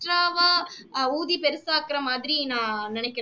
extra வா ஆஹ் ஊதி பெருசாக்குகிற மாதிரி நான் நினைக்குறேன்